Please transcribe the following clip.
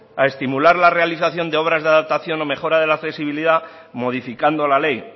a estimular la realización de obras de adaptación o mejora de la flexibilidad modificando la ley